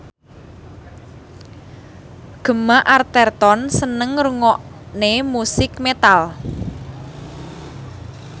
Gemma Arterton seneng ngrungokne musik metal